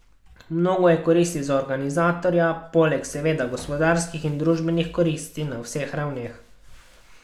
Mnogo je koristi za organizatorja, poleg seveda gospodarskih in družbenih koristi na vseh ravneh.